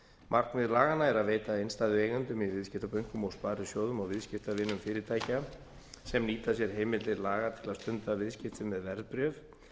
markmið laganna er að veita innstæðueigendum í viðskiptabönkum og sparisjóðum og viðskiptavinum fyrirtækja sem nýta sér heimildir laga til að stunda viðskipti með verðbréf